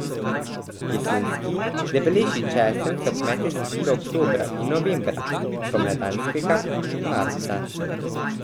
Jesenski, debelejši česen so kmetje sadili oktobra in novembra, spomladanskega marca.